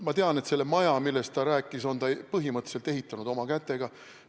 Ma tean, et selle maja, millest ta rääkis, on ta põhimõtteliselt ehitanud oma kätega.